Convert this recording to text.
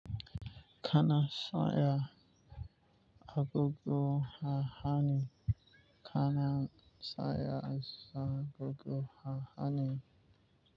Kana sanya agogo ha hannu. Kana zan iya sa agogo a hannu.